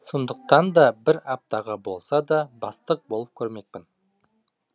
сондықтан да бір аптаға болса да бастық болып көрмекпін